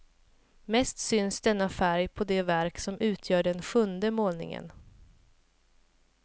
Mest syns denna färg på det verk som utgör den sjunde målningen.